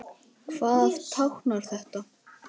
Hvað táknar þetta?